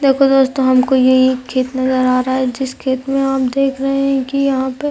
देखो दोस्तों हमको ये एक खेत नजर आ रहा है जिस खेत में आप देख रहे है कि यहाँ पर --